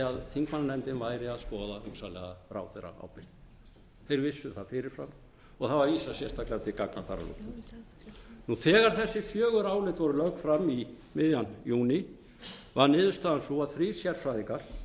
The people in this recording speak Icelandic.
þingmannanefndin væri að skoða hugsanlega ráðherraábyrgð þeir vissu það fyrir fram og það var vísað sérstaklega til gagna þar að lútandi þegar þessi fjögur álit voru lögð fram um miðjan júní varð niðurstaðan sú að þrír sérfræðingar